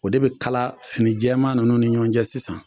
O de bi kala finijɛman nunnu ni ɲɔn cɛ sisan